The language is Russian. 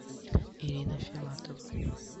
ирина филатова